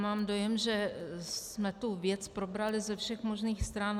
Mám dojem, že jsme tu věc probrali ze všech možných stran.